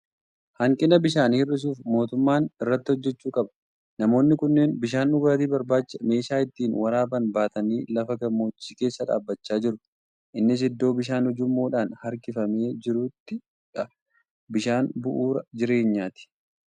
Hanqina bishaanii hir'isuuf mootummaan irratti hojjechuu qaba! Namoonni kunneen bishaan dhugaatii barbaacha meeshaa ittiin waraaban baatanii lafa gammoojjii keessa dhaabachaa jiru. Innis iddoo bishaan ujummoodhaan harkifamee jiruttidha. Bishaan bu'uura jireenyaati!